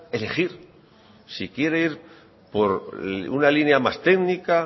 elegir si quiere ir por una línea más técnica